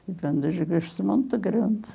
Tive um desgosto muito grande.